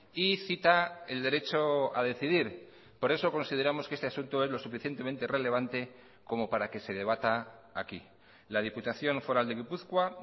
y cita el derecho a decidir por eso consideramos que este asunto es lo suficientemente relevante como para que se debata aquí la diputación foral de gipuzkoa